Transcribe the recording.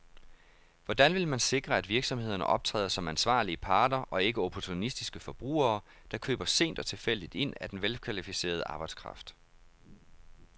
Hvordan vil man sikre, at virksomhederne optræder som ansvarlige parter og ikke opportunistiske forbrugere, der køber sent og tilfældigt ind af den velkvalificerede arbejdskraft.